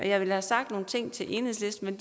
jeg ville have sagt nogle ting til enhedslisten